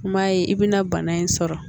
I m'a ye i bɛna bana in sɔrɔ